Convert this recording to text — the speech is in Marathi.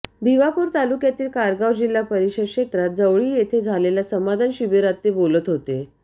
भिवापूर तालुक्यातील कारगाव जिल्हा परिषद क्षेत्रात जवळी येथे झालेल्या समाधान शिबिरात ते बोलत होते